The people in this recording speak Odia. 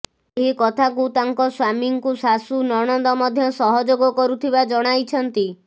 ଏହିକଥାକୁ ତାଙ୍କ ସ୍ବାମୀଙ୍କୁ ଶାଶୁ ନଣନ୍ଦ ମଧ୍ୟ ସହଯୋଗ କରୁଥିବା ଜଣାଇଛନ୍ତି